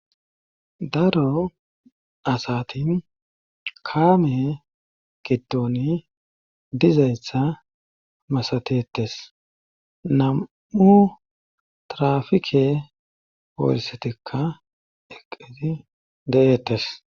daro asatin kaame giddoni dizaystha masatetes nam7u trafike poolissetikka eqqizi de7eettes